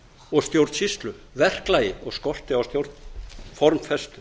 og stjórnsýslu verklagi og skorti á formfestu